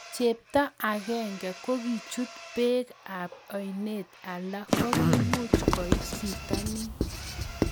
Cheptoo agenge kokichuut peek ab oineet alak kokimuuch koit pitaniin